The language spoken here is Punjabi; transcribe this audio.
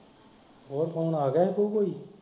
ਹੋਰ phone ਆਗਿਆ ਸੀ ਕੇ ਕੋਈ।